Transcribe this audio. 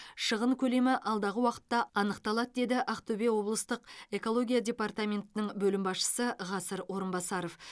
шығын көлемі алдағы уақытта анықталады деді ақтөбе облыстық экология департаментінің бөлім басшысы ғасыр орынбасаров